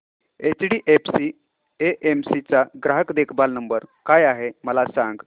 HDFC AMC चा ग्राहक देखभाल नंबर काय आहे मला सांग